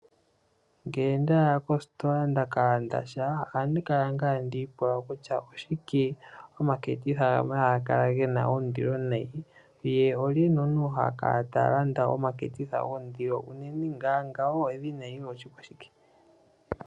Ngele ndaya kostola ndaka landa sha ohandi kala nga tandi pula kutya oshike omaketitha gamwe haga kala gena ondilo nayi, naantu oye li haya landa omaketitha goondilo uunene ngawo edhina nenge oshikwashike.